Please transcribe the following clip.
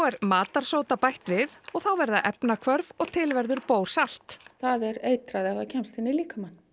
er matarsóda bætt við og þá verða efnahvörf og til verður það er eitrað ef það kemst inn í líkamann